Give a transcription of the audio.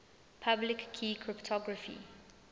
public key cryptography